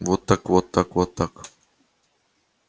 вот так вот так вот так